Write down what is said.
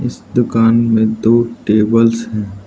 इस दुकान में दो टेबल्स है।